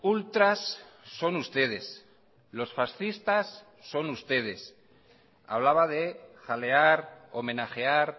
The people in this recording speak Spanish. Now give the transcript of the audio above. ultras son ustedes los fascistas son ustedes hablaba de jalear homenajear